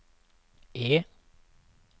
E